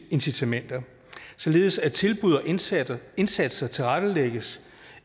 incitamenter således at tilbud og indsatser indsatser tilrettelægges